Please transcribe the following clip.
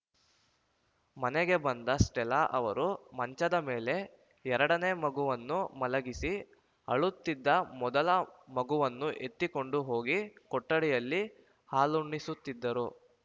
ಮನೆಗೆ ಬಂದ ಸ್ಟೆಲ್ಲಾ ಅವರು ಮಂಚದ ಮೇಲೆ ಎರಡನೇ ಮಗುವನ್ನು ಮಲಗಿಸಿ ಅಳುತ್ತಿದ್ದ ಮೊದಲ ಮಗುವನ್ನು ಎತ್ತಿಕೊಂಡು ಹೋಗಿ ಕೊಠಡಿಯಲ್ಲಿ ಹಾಲುಣಿಸುತ್ತಿದ್ದರು